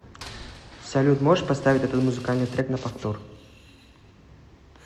салют можешь поставить этот музыкальный трек на повтор